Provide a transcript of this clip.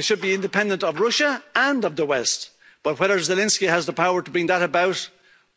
They should be independent of Russia and of the West, but whether Zelensky has the power to bring that about,